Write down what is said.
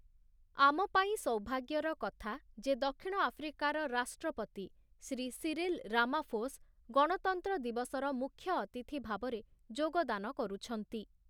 ଆମପାଇଁ ସୌଭାଗ୍ୟର କଥା ଯେ ଦକ୍ଷିଣ ଆଫ୍ରିକାର ରାଷ୍ଟ୍ରପତି ଶ୍ରୀ ସିରିଲ୍ ରାମାଫୋସ୍ ଗଣତନ୍ତ୍ର ଦିବସର ମୁଖ୍ୟଅତିଥି ଭାବରେ ଯୋଗଦାନ କରୁଛନ୍ତି ।